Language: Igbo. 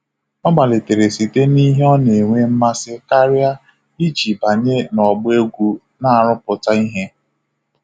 Ọ malitere site n'ihe ọ na-enwe mmasị karịa iji banye n'ọgbọ egwu na-arụpụta ihe.